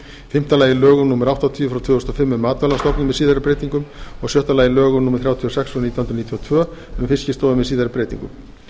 fimmta lögum númer áttatíu tvö þúsund og fimm um matvælastofnun með síðari breytingum og sjötta lögum númer þrjátíu og sex nítján hundruð níutíu og tvö um fiskistofu með síðari breytingum